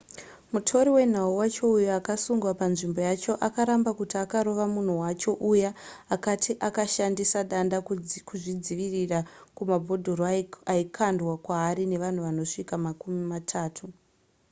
mutori wenhau wacho uyo akasungwa panzvimbo yacho akaramba kuti akarova munhu wacho uya akati akashandisa danda kuzvidzivirira kumabhodhoro aikwandwa kwaari nevanhu vanosvika makumi matatu